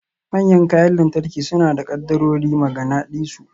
Manyan kayan lantarki suna da kaddarorin maganadisu.